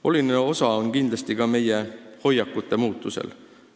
Oluline osa on kindlasti ka meie hoiakute muutusel.